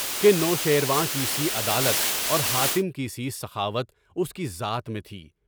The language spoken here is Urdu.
کہ نوشیروان کی سی عدالت اور حاتم کی سی سخاوت اس کی ذات میں تھی۔